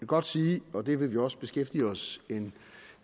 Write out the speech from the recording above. godt sige og det vil vi også beskæftige os en